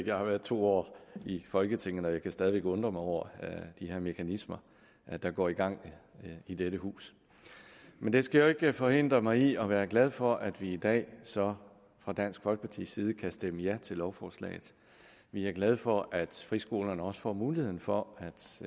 jeg har været to år i folketinget og jeg kan stadig væk undre mig over de her mekanismer der går i gang i dette hus men det skal jo ikke forhindre mig i at være glad for at vi i dag så fra dansk folkepartis side kan stemme ja til lovforslaget vi er glade for at friskolerne også får muligheden for